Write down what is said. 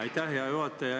Aitäh, hea juhataja!